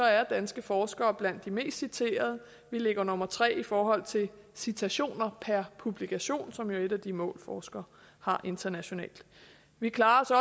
er danske forskere blandt de mest citerede vi ligger nummer tre i forhold til citationer per publikation som jo er et af de mål forskere har internationalt vi klarer